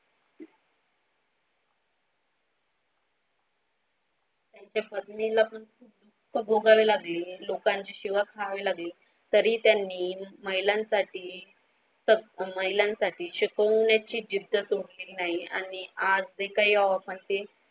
त्यांच्या पत्नीला पण खूप कष्ट भोगावे लागले लोकांची शिव्या खावे लागले तरी त्यांनी महिलांसाठी फक्त महिलांसाठी शिकवण्याची जिद्द सोडली नाही आणि आज जे काही म्हणजे.